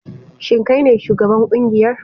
Shin kai ne shugaban kungiyar?